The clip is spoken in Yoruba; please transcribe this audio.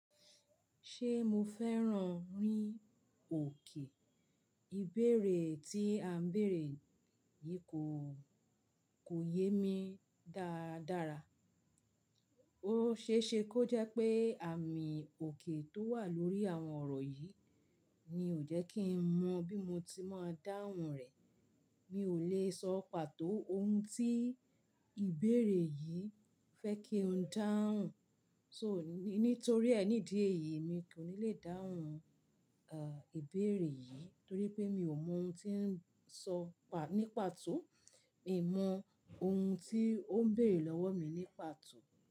Ṣé mo fẹ́ràn rí òkè? Ìbéèrè tí a ń bèèrè yìí kò, kò yé mi dáadára. Ó ṣe é ṣe kó jẹ́ pé àmì òkè tó wà lórí àwọn ọ̀rọ̀ yìí ni ò jẹ́ kí n mọ bí mo ti máa dáhùn rẹ̀. Mi ò lè sọ pàtó ohun tí ìbéèrè yìí fẹ́ kí n dáhùn. So ní, nítorí ẹni dé yìí mi kò ní le dáhùn, e, ìbéèrè yìí torí pé mi ò mọ ohun tí ń sọ pà, ní pàtó. Mi mọ ohun tí ó ń béèrè lọ́wọ́ mi ní pàtó.